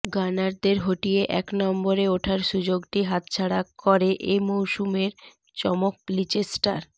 গানারদের হটিয়ে এক নম্বরে ওঠার সুযোগটি হাতছাড়া করে এ মৌসুমের চমক লিচেস্টার